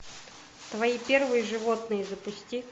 твои первые животные запусти